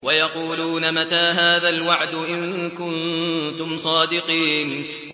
وَيَقُولُونَ مَتَىٰ هَٰذَا الْوَعْدُ إِن كُنتُمْ صَادِقِينَ